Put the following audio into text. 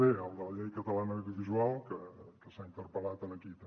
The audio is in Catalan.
d el de la llei catalana audiovisual que s’ha interpel·lat aquí també